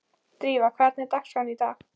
Drífa, hvernig er dagskráin í dag?